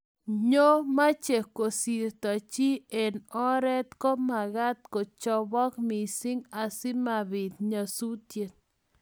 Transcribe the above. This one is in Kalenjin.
nyoo meche kosirto chi eng oret ko magaat kochopok missing asimabiit nyasusiet